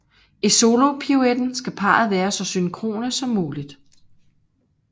I solopiruetten skal parret være så synkrone som muligt